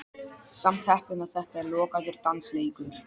Samt heppinn að þetta er lokaður dansleikur.